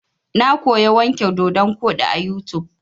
Na koya wanke dodon koɗi a YouTube.